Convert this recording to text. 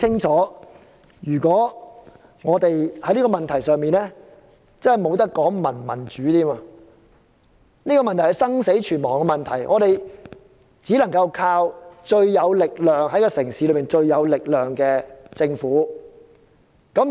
在這個問題上，不可以再談民主，這是生死存亡的問題，只能依靠城市中最有力量的政府。